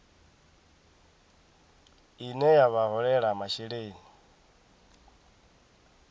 ine ya vha holela masheleni